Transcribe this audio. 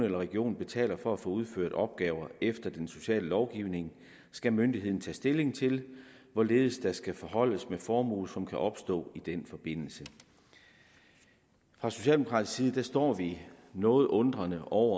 en region betaler for at få udført opgaver efter den sociale lovgivning skal myndigheden tage stilling til hvorledes der skal forholdes med formue som kan opstå i denne forbindelse fra socialdemokratisk side står vi noget undrende over